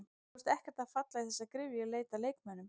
Þú ert ekkert að falla í þessa gryfju í leit að leikmönnum?